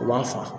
U b'a fa